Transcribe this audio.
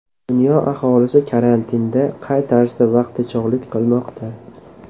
Dunyo aholisi karantinda qay tarzda vaqtichog‘lik qilmoqda?